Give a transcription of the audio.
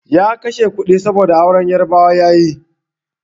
Ya kashe kudi, saboda auren Yarabawa ya yi.